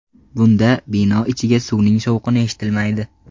Bunda bino ichiga suvning shovqini eshitilmaydi.